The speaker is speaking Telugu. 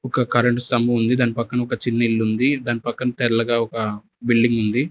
ఒక కరెంటు స్తంభం ఉంది దాని పక్కన ఒక చిన్న ఇల్లు ఉంది దాని పక్కన తెల్లగా ఒక బిల్డింగ్ ఉంది.